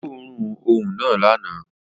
Ó gbóòórùn òun náà lánàá